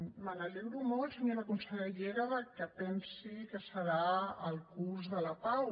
me n’alegro molt senyora consellera que pensi que serà el curs de la pau